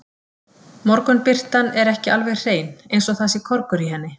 Morgunbirtan er ekki alveg hrein, eins og það sé korgur í henni.